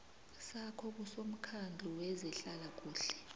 sakho kusomkhandlu wezehlalakuhle